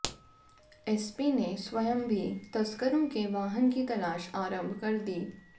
SP ने स्वयं भी तस्करों के वाहन की तलाश आरंभ कर दी